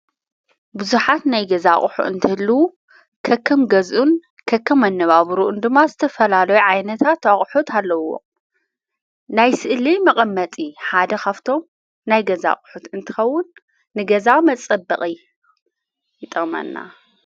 ብዙሓት ናይ ገዛ ቕሑ እንትህልዉ ከከም ገዝኡን ከከም ኣነባብሩኡን ድማ ዘተፈላለይ ዓይነታት ኣቕሑት ኣለዎ ናይ ስእልይ መቐመጢ ሓደ ኻብቶም ናይ ገዛ ቕሑት እንትኸውን ንገዛዊ መጸበቕ ይጠቅመና።